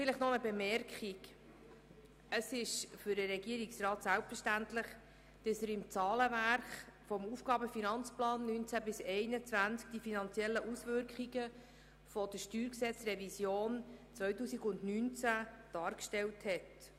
Noch eine Bemerkung: Es ist für den Regierungsrat selbstverständlich, die finanziellen Auswirkungen der StG-Revision 2019 im AFP 2019–2021 darzustellen.